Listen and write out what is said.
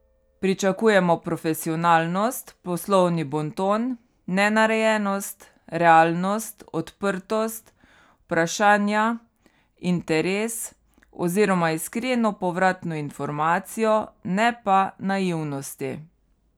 Pričakujemo profesionalnost, poslovni bonton, nenarejenost, realnost, odprtost, vprašanja, interes oziroma iskreno povratno informacijo, ne pa naivnosti.